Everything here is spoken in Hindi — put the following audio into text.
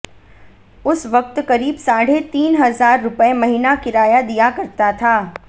उस वक्त करीब साढ़े तीन हजार रुपए महीना किराया दिया करता था